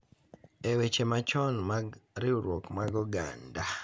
E weche machon mag riwruok mar oganda,